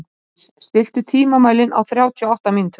Hjálmdís, stilltu tímamælinn á þrjátíu og átta mínútur.